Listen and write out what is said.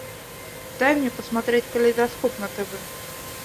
дай мне посмотреть калейдоскоп на тв